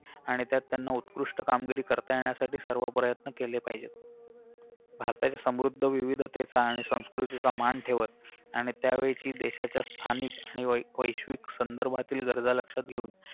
आणि त्यात त्यांना उत्कृष्ट कामगिरी करता येण्यासाठी सर्व प्रयत्न केले पाहिजेत भारताच्या समृद्ध विविधतेचा आणि संस्कृतीचा मान ठेवत आणि त्यावेळेची देशाच्या स्थानिक आणि वै वैश्विक संदर्भातील दर्जा लक्षात घेऊन